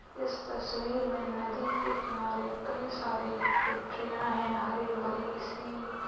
इस तस्वीर में नदी के किनारे कई सारी फ़ैक्टरिया है हरी भरी सी।